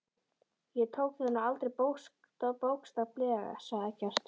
Ég tók það nú aldrei bókstaflega, sagði Eggert.